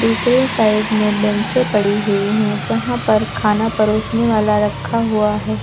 दूसरे साइड में बेचें पड़ी हुई है जहां पर खाना परोसने वाला रखा हुआ है।